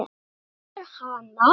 Réttu mér hana